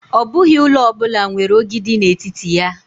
Ọ bụghị ụlọ ọ bụla nwere ogidi n'etiti ya.